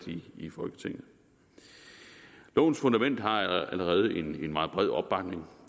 i folketinget lovens fundament har allerede en meget bred opbakning